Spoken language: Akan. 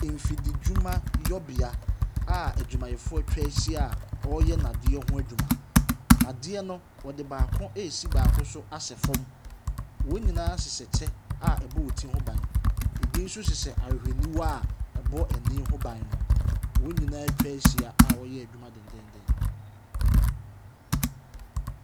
Mfididwumayɔbea a adwumayɛfoɔ atwa ahyia a wɔreyɛ nnadeɛ ho adwuma. Nnadeɛ no, wɔde baako resi baako so ahyɛ fam. Wɔn nyinaa hyehyɛ kyɛ a ɛbɔ wɔn ti ho ban. Ebi nso yɛ ahwehwɛniwa a ɛbɔ ani ho ban. Wɔn nyinaa atwa ahyia a wɔreyɛ adwuma dennennen.